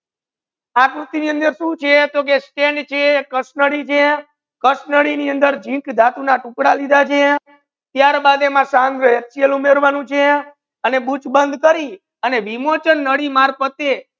આકૃતિ ની અંદર સુ છે તો કહે કે stand છે કસનરી છે કસનરી ની અંદર zink ધાતુ ના ટુકડા લિધા છે ત્યાર બાદ એમા એચસીએલ ઉમરવાનુ છે અને બુચ બંધ કરી અને વિમોચન નડી માર્ગ પ્રત્યાય